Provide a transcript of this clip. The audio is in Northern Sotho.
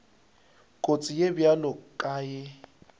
kotsi ye bjalo ka ye